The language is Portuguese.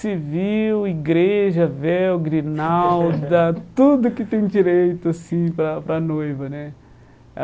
Civil, igreja, véu, grinalda, tudo que tem direito assim para a para a noiva, né?